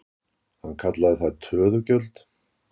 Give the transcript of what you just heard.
Hann kallaði það töðugjöld.